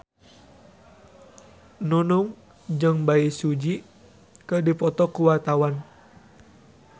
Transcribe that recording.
Nunung jeung Bae Su Ji keur dipoto ku wartawan